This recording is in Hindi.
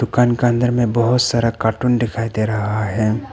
दुकान का अंदर में बहोत सारा कार्टून दिखाई दे रहा है।